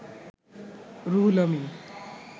Ruhul Amin